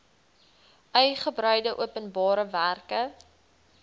uigebreide openbare werke